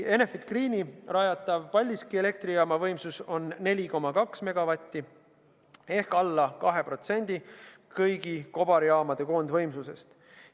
Enefit Greeni rajatav Paldiski elektrijaama võimsus on 4,2 megavatti ehk alla 2% kõigi kobarjaamade koondvõimsusest.